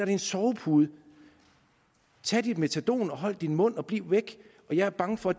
en sovepude tag dit metadon hold din mund og bliv væk og jeg er bange for